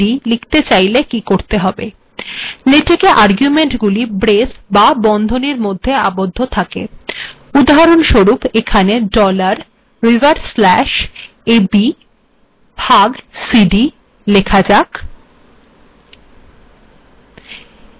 েলেটেক আর্গেুমন্টগিুল ব্েরস্ বা বন্ধনীর মেধ্য আবদ্ধ থােক উদাহরণস্বরূপ এখােন ডলার্ \frac a b ভাগ c d েলখা যাক